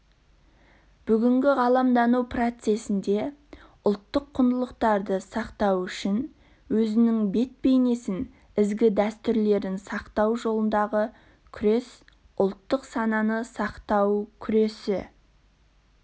бүгінгі ғаламдану процесінде ұлттық құндылықтарды сақтау мен өзінің бет-бейнесін ізгі дәстүрлерін сақтау жолындағы күрес ұлттық сананы сақтау күресі